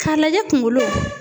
Ka lajɛ kunkolo.